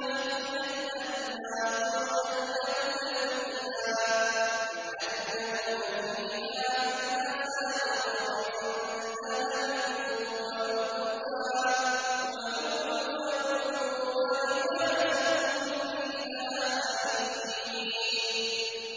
مِن تَحْتِهَا الْأَنْهَارُ يُحَلَّوْنَ فِيهَا مِنْ أَسَاوِرَ مِن ذَهَبٍ وَلُؤْلُؤًا ۖ وَلِبَاسُهُمْ فِيهَا حَرِيرٌ